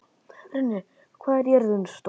Runi, hvað er jörðin stór?